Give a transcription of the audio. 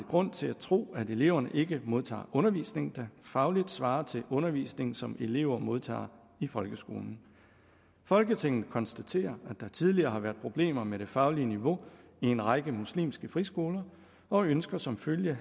grund til at tro at eleverne ikke modtager undervisning der fagligt svarer til undervisning som elever modtager i folkeskolen folketinget konstaterer at der tidligere har været problemer med det faglige niveau i en række muslimske friskoler og ønsker som følge